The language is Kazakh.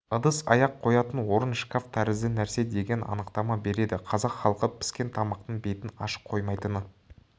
ыдыс-аяқ қоятын орын шкаф тәрізді нәрсе деген анықтама береді қазақ халқы піскен тамақтың бетін ашық қоймайтыны